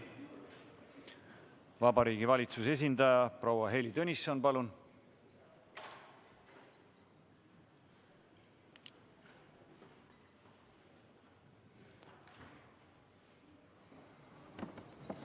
Vabariigi Valitsuse esindaja proua Heili Tõnisson, palun!